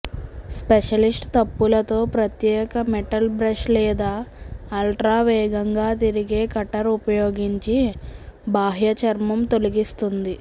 specialist తప్పులతో ప్రత్యేక metal brush లేదా అల్ట్రా వేగంగా తిరిగే కట్టర్ ఉపయోగించి బాహ్యచర్మం తొలగిస్తుంది